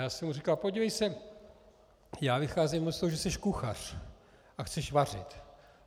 Já jsem mu říkal: Podívej se, já vycházím z toho, že jsi kuchař a chceš vařit.